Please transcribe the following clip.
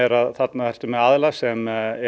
að þarna ertu með aðila sem er